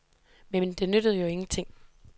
Men det nyttede jo ingenting.